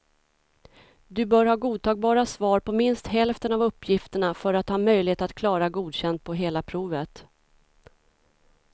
Du bör ha godtagbara svar på minst hälften av uppgifterna för att ha möjlighet att klara godkänd på hela provet.